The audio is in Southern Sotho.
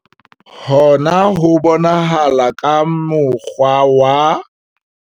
Hona ho bonahala ka mo kgwa wa.